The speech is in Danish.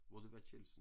Hvor det var Kjeldsen